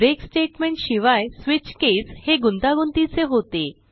break statement शिवाय switch case हे गुंतागुंतीचे होते